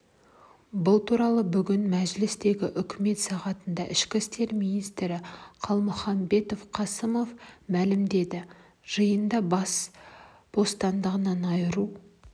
бұл туралы бүгін мәжілістегі үкімет сағатында ішкі істер министрі қалмұханбет қасымов мәлімдеді жиында бас бостандығынан айыру